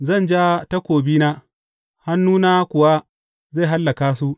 Zan ja takobina hannuna kuwa zai hallaka su.’